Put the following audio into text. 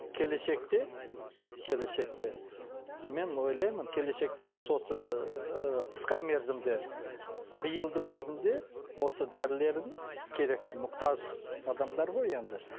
келешекте келешекте мен ойлаймын келешекте емес осы ыыы қысқа мерзімде биылдың өзінде осы дәрілердің керекті мұқтаж адамдар ғой енді